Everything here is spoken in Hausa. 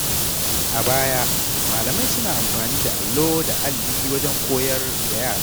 A baya, malamai suna amfani da allo da alli wajen koyar da yara.